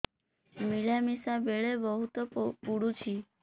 ମିଳାମିଶା ବେଳେ ବହୁତ ପୁଡୁଚି